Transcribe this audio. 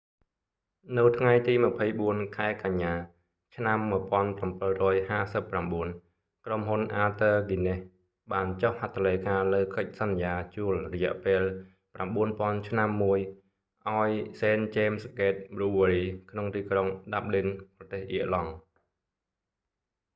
នៅថ្ងៃទី 24 ខែកញ្ញាឆ្នាំ 1759 ក្រុមហ៊ុន arthur guinness បានចុះហត្ថលេខាលើកិច្ចសន្យាជួលរយៈពេល 9,000 ឆ្នាំមួយឱ្យ st james' gate brewery ក្នុងទីក្រុង dublin ប្រទេសអៀរឡង់